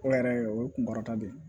O yɛrɛ o ye kun kɔrɔta de ye